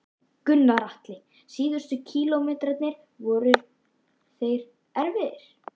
Gunnar Atli: Síðustu kílómetrarnir, voru þeir erfiðir?